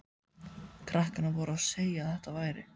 Krakkarnir voru að segja að þetta væri